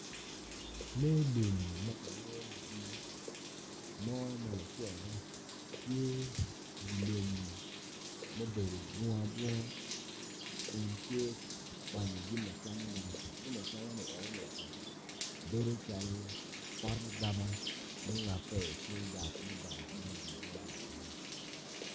Lee lum ma ki lwongoni mo malaco ma tye i lum ma obedo bunga kun tye ka kwanyo jami acamane ma atamo ni enoni bedo calo pot agaba mungape ikor yat mudongo ibunga ni enoni.